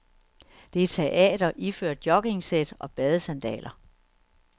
Det er teater iført joggingsæt og badesandaler.